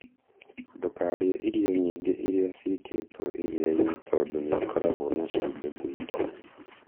Ndũkarĩe irio nyingĩ iria ciĩkĩtwo iria-inĩ tondũ nĩ ikoragwo na cumbĩ mũingĩ.